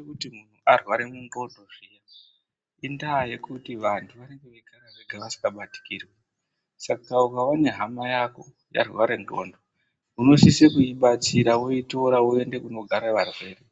Kuri kuti muntu arware ndxondo zviya indaa yekuti vantu vane veigara vega vasikabatikirwi saka ukaone hama yako yarware ndxondo unosise kuibatsira woitora woende kunogara varwere